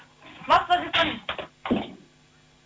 массаж жасаңыз